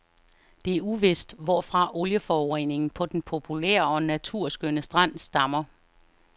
Det er uvist, hvorfra olieforureningen på den populære og naturskønne strand stammer.